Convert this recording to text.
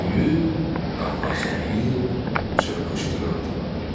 böyür, qapazlayır, çırpışdırırdılar.